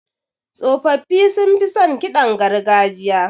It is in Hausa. Tsofaffi sunfi son ƙidan gargajiya.